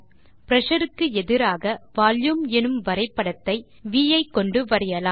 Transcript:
pressure க்கு எதிராக volume எனும் வரைபடத்தை வி ஐக்கொண்டு வரையலாம்